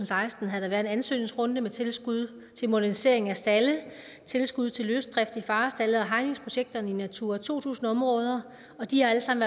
seksten har været en ansøgningsrunde med tilskud til modernisering af stalde tilskud til løsdrift i farestalde og til hegningsprojekter i natura to tusind områder og de har alle sammen